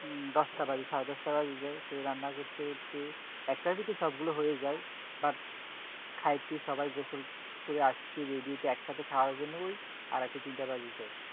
দশটা বাজে সাড়ে দশটা বেজে যায়, তো রান্না করতে করতে একটার ভিতর সবগুলা হয়ে যায় but খাইতে সবাই গোসল করে আসতে ready হইতে একসাথে খাওয়ার জন্য ঐ আড়াইটা তিনটা বাজে যায়।